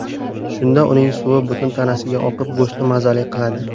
Shunda uning suvi butun tanasiga oqib, go‘shtni mazali qiladi.